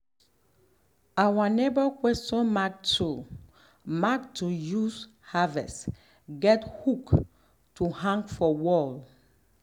um our neighbour question mark tool mark tool to um use harvest get hook to um hang for wall